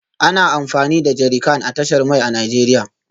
Ana amfani da jerrycan a tashar mai a Najeriya